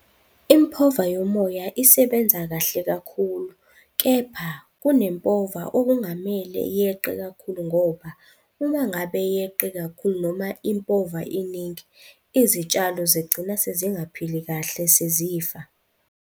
Impova yomoya isebenza kahle kakhulu, kepha kunempova okungamele yeqe kakhulu ngoba uma ngabe yeqe kakhulu noma impova iningi, izitshalo zigcina sezingaphili kahle, sezifa.